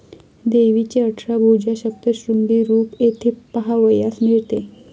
देवीचे अठरा भुजा सप्तशृंगी रूप येथे पहावयास मिळते